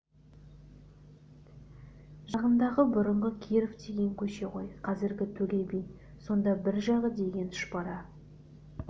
жағындағы бұрынғы киров деген көше ғой қазіргі төле би сонда бір жағы деген тұшпара